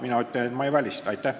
Mina ütlen, et ma ei välista seda.